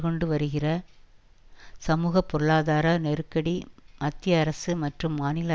கொண்டு வருகிற சமூக பொருளாதார நெருக்கடி மத்திய அரசு மற்றும் மாநில